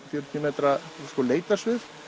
metra leitarsvið